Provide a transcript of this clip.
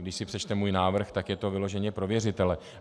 Když si přečte můj návrh, tak je to vyloženě pro věřitele.